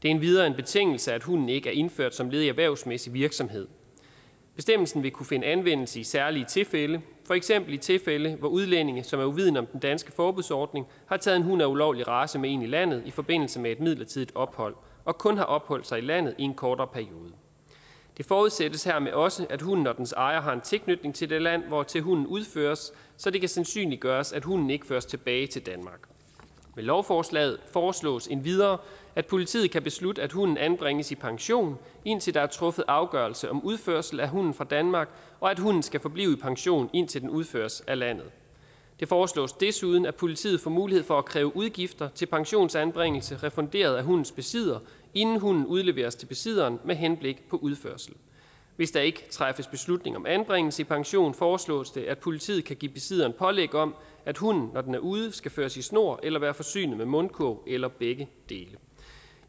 endvidere en betingelse at hunden ikke er indført som led i erhvervsmæssig virksomhed bestemmelsen vil kunne finde anvendelse i særlige tilfælde for eksempel i tilfælde hvor udlændinge som er uvidende om den danske forbudsordning har taget en hund af en ulovlig race med ind i landet i forbindelse med et midlertidigt ophold og kun har opholdt sig i landet i en kortere periode det forudsættes hermed også at hunden og dens ejer har en tilknytning til det land hvortil hunden udføres så det kan sandsynliggøres at hunden ikke føres tilbage til danmark med lovforslaget foreslås det endvidere at politiet kan beslutte at hunden anbringes i pension indtil der er truffet afgørelse om udførsel af hunden fra danmark og at hunden skal forblive i pension indtil den udføres af landet det foreslås desuden at politiet får mulighed for at kræve udgifter til pensionsanbringelse refunderet af hundens besidder inden hunden udleveres til besidderen med henblik på udførsel hvis der ikke træffes beslutning om anbringelse i pension foreslås det at politiet kan give besidderen pålæg om at hunden når den er ude skal føres i snor eller være forsynet med mundkurv eller begge dele